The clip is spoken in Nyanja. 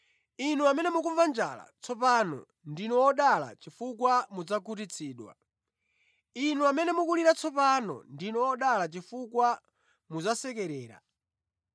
Inu amene mukumva njala tsopano, ndinu odala chifukwa mudzakhutitsidwa. Inu amene mukulira tsopano, ndinu odala chifukwa mudzasekerera.